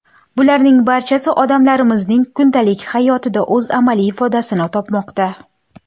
Bularning barchasi odamlarimizning kundalik hayotida o‘z amaliy ifodasini topmoqda.